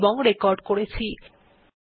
এই টিউটোরিয়াল এ অংশগ্রহন করার জন্য ধন্যবাদ